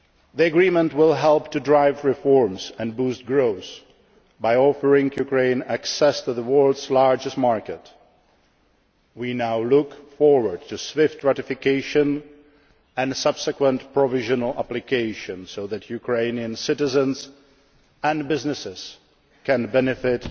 Ukraine. The Agreement will help to drive reforms and boost growth by offering Ukraine access to the world's largest market. We now look forward to its swift ratification and subsequent provisional application, so that Ukrainian citizens and businesses can